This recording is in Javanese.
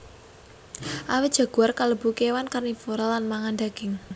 Awit jaguar kalebu kéwan karnivora lang mangan daging